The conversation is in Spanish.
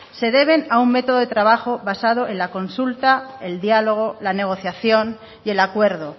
se deben a un método de trabajo basado en la consulta el diálogo la negociación y el acuerdo